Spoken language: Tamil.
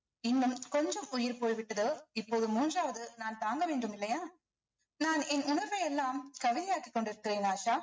இன்னும் கொஞ்சம் உயிர் போய்விட்டது இப்போது மூன்றாவது நான் தாங்க வேண்டும் இல்லையா நான் என் உணர்வை எல்லாம் கவிதையாக்கிக் கொண்டிருக்கிறேன் ஆஷா